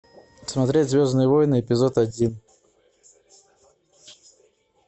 смотреть звездные войны эпизод один